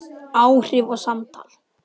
Áhrif og samtal